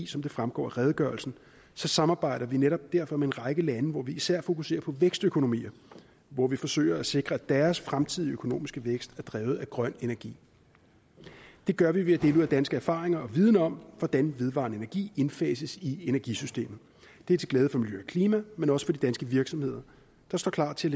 som det fremgår af redegørelsen samarbejder vi netop derfor med en række lande hvor vi især fokuserer på vækstøkonomier og hvor vi forsøger at sikre at deres fremtidige økonomiske vækst er drevet af grøn energi det gør vi ved at dele ud af danske erfaringer og dansk viden om hvordan vedvarende energi indfases i energisystemet det er til glæde for miljø og klima men også for de danske virksomheder der står klar til